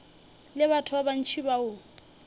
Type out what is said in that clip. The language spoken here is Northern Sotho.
le batho ba bantši bao